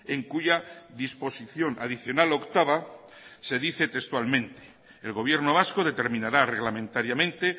en cuya disposición adicional octava se dice textualmente el gobierno vasco determinará reglamentariamente